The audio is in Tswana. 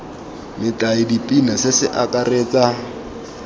metlae dipina se se akaretsa